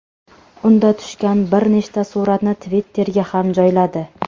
Unda tushgan bir nechta suratni Twitter’ga ham joyladi.